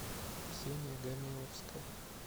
ксения гамиловская